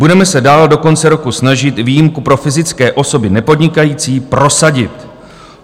Budeme se dál do konce roku snažit výjimku pro fyzické osoby nepodnikající prosadit.